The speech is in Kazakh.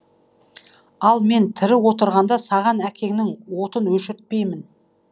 ал мен тірі отырғанда саған әкеңнің отын өшіртпеймін